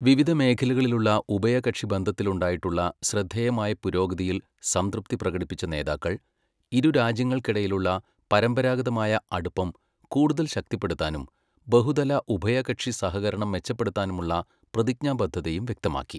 വിവിധ മേഖലകളിലുള്ള ഉഭയകക്ഷി ബന്ധത്തിലുണ്ടായിട്ടുള്ള ശ്രദ്ധേയമായ പുരോഗതിയിൽ സംതൃപ്തി പ്രകടിപ്പിച്ച നേതാക്കൾ , ഇരുരാജ്യങ്ങൾക്കിടയിലുള്ള പരമ്പരാഗതമായ അടുപ്പം കൂടുതൽ ശക്തിപ്പെടുത്താനും ബഹുതല ഉഭയകക്ഷി സഹകരണം മെച്ചപ്പെടുത്താനുമുള്ള പ്രതിജ്ഞാബദ്ധതയും വ്യക്തമാക്കി.